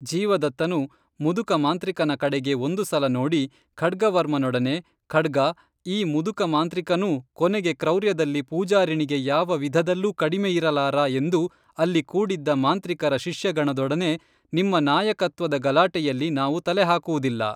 ಜೀವದತ್ತನು ಮುದುಕ ಮಾಂತ್ರಿಕನ ಕಡೆಗೆ ಒಂದು ಸಲ ನೋಡಿ ಖಡ್ಗವರ್ಮನೊಡನೆ ಖಡ್ಗಾ, ಈ ಮುದುಕ ಮಾಂತ್ರಿಕನೂ ಕೊನೆಗೆ ಕ್ರೌರ್ಯದಲ್ಲಿ ಪೂಜಾರಿಣಿಗೆ ಯಾವ ವಿಧದಲ್ಲೂ ಕಡಿಮೆಯಿರಲಾರ ಎಂದು ಅಲ್ಲಿ ಕೂಡಿದ್ದ ಮಾಂತ್ರಿಕರ ಶಿಷ್ಯಗಣದೊಡನೆ ನಿಮ್ಮ ನಾಯಕತ್ವದ ಗಲಾಟೆಯಲ್ಲಿ ನಾವು ತಲೆಹಾಕುವುದಿಲ್ಲ